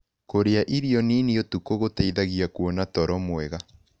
Kũrĩa irio nĩnĩ ũtũkũ gũteĩthagĩa kũona toro mwega